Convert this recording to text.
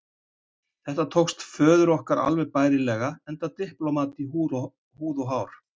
Þetta tókst föður okkar alveg bærilega, enda diplómat í húð og hár.